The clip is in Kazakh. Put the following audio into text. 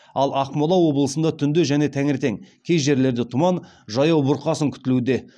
ал ақмола облысында түнде және таңертең кей жерлерде тұман жаяу бұрқасын күтілуде